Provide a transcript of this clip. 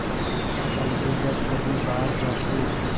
और अलगू जब कभी बाहर जाते